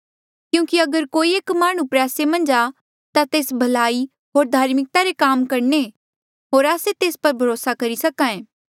क्यूंकि अगर कोई एक माह्णुं प्रयासे मन्झ आ ता तेस भलाई होर धार्मिकता रे काम करणे होर आस्से तेस पर भरोसा करी सके